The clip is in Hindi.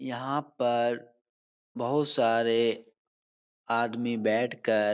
यहाँ पर बहुत सारे आदमी बैठ कर --